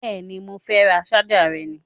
Bẹ́ẹ̀ni, mo fẹ́ràn ṣájà rẹ ni